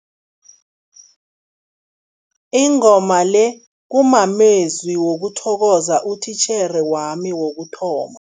Ingoma le kumamezwi wokuthokoza utitjhere wami wokuthoma.